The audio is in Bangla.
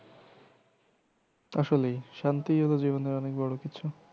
আসলেই শান্তিই হল জীবনের অনেক বড় কিছু।